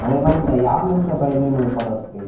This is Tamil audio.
அதே மாதிரி யாமிருக்க பயமேன் அப்படின்னு ஒரு படம் இருக்கு